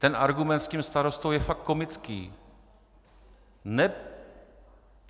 Ten argument s tím starostou je fakt komický.